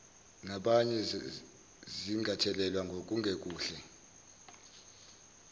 zabanye zingathelelwa ngokungekuhle